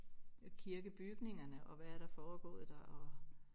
Af kirkebygningerne og hvad er der foregået der og